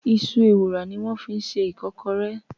Iṣu Ewùrà ni wọ́n fi ṣe Ìkọ́kọrẹ́